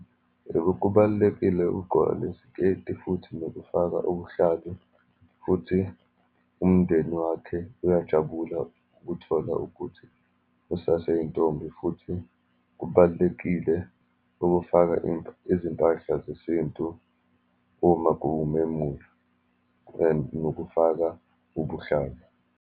Yebo, kubalulekile ukuqgoka lesiketi, futhi nokufaka ubuhlalu, futhi umndeni wakhe uyajabula ukuthola ukuthi usaseyintombi, futhi kubalulekile ukufaka izimpahla zesintu uma kuwumemulo and nokufaka ubuhlalu.